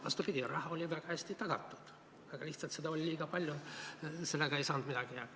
Vastupidi, raha oli väga hästi tagatud, aga lihtsalt seda oli liiga palju ja sellega ei saanud midagi teha.